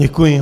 Děkuji.